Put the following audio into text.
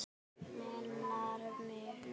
Manar mig.